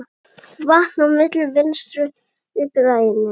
Vatn á myllu Vinstri grænna?